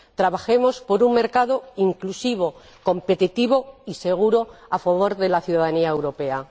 Trabajemos por un mercado inclusivo, competitivo y seguro a favor de la ciudadanía europea.